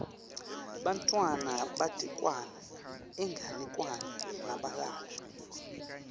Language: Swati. bantfwana batekelwa inganekwane nabalala